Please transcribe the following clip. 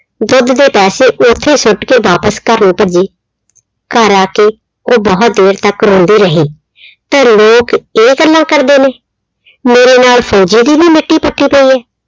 ਦੁੱਧ ਦੇ ਪੈਸੇ ਉੱਥੇ ਸੁੱਟ ਕੇ ਵਾਪਸ ਘਰ ਨੂੰ ਭੱਜੀ। ਘਰ ਆ ਕੇ ਉਹ ਬਹੁਤ ਦੇਰ ਤੱਕ ਰੋਂਦੀ ਰਹੀ। ਫਿਰ ਲੋਕ ਇਹ ਗੱਲਾਂ ਕਰਦੇ ਨੇ, ਮੇਰੇ ਨਾਲ ਫੌਜੀ ਦੀ ਵੀ ਮਿੱਟੀ ਪੁੱਟੀ ਪਈ ਏ।